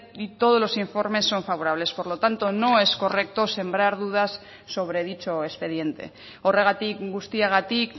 y todos los informes son favorables por lo tanto no es correcto sembrar dudas sobre dicho expediente horregatik guztiagatik